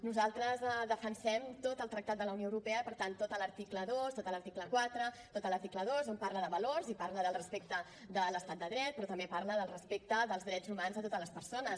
nosaltres defensem tot el tractat de la unió europea i per tant tot l’article dos tot l’article quatre tot l’article dos que parla de valors i del respecte de l’estat de dret però també parla del respecte dels drets humans a totes les persones